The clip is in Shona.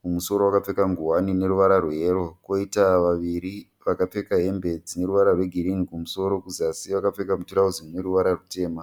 mumusoro akapfeka nguwani ine ruvara rweyero, koita vaviri vakapfeka hembe dzine ruvara rwegirini kumusoro, kuzasi vakapfeka mitirauzi ine ruvara rutema